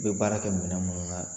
I bɛ baara kɛ minɛn minnu na